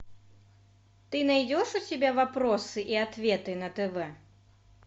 ты найдешь у себя вопросы и ответы на тв